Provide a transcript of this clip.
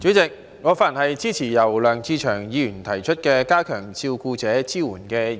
代理主席，我發言支持由梁志祥議員提出的"加強對照顧者的支援"議案。